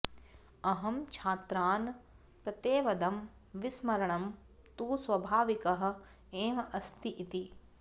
अहं छात्रान् प्रत्यवदम् विस्मरणं तु स्वाभाविकः एव अस्ति इति